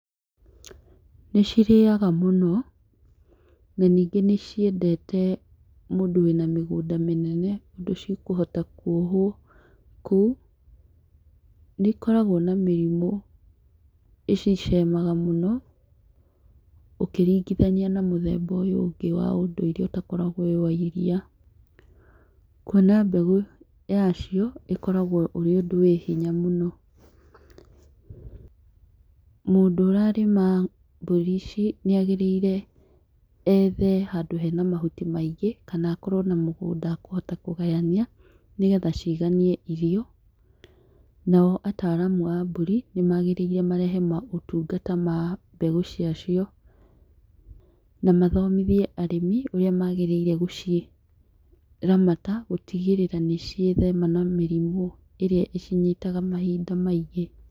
Nĩ cirĩaga mũno na ningĩ nĩ ciendete mũndũ wĩna mĩgũnda mũnene, ũndũ cikohata kwohwo kũu, nĩ ikoragwo na mĩrimũ icicemaga ũkĩringithania na mũthemba ũyũ ũngĩ wa ũndũire ũtakoragwo wĩwa iria, kwona mbegũ yacio ũkoragwo ũrĩ ũndũ wa hinya mũno, mũndũ ũrarĩma mbũri ici nĩagĩrĩire ethe handũ hena mahuti maingĩ kana akorwo na mũgũnda akahota kũgania nĩgetha ciganie irio, nao ataraamu a mbũri nĩmagĩrĩirwo marehe motungata ma mbegũ cia cio, na mathomithie arĩmi ũrĩa magĩrĩire gũciramata gũtigĩrĩra nĩ ciethema na mĩrimũ ĩrĩa ĩcinyitaga mahinda maingĩ.